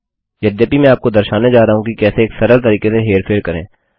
यद्यपि मैं आपको दर्शाने जा रहा हूँ कि कैसे एक सरल तरीके से हेरफेर करें